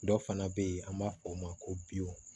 Dɔ fana bɛ yen an b'a fɔ o ma ko